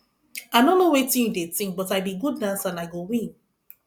i no know wetin you dey think but i be good dancer and i go win